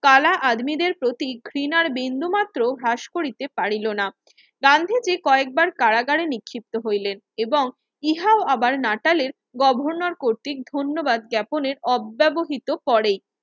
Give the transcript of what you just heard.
কালা আধমিদের প্রতি ঘৃণার বিন্দুমাত্র হ্রাস করিতে পারিলো না গান্ধীজি কয়েকবার কারাগারে নিক্ষিপ্ত হইলেন এবং ইহাও আবার নাটালের গভর্নর কর্তৃক ধন্যবাদ যাপনের অব্যবহিত করে